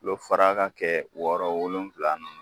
Tulo fara ka kɛ wɔɔrɔ wolonwula nun